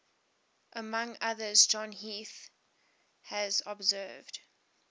among others john heath has observed